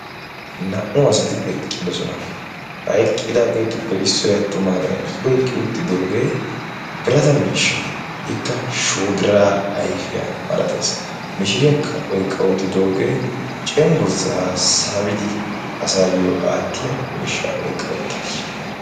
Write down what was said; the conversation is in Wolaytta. naa77u asati eqqidosona. ha eqqidaageetuppe issoi attumaagaa i oiqqi uttidoogee birata miishsha ikka shoodiraa aifiyaa malatees. mishiriyaakka oiqqa uttidoogee cenggurssaa saabidi asaayyo aattiya miishsha oiqqauttaasu.